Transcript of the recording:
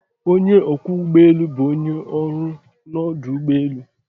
Onye ọkwọ ụgbọ elu bụ onye ọrụ n'ọdụ ụgbọ elu.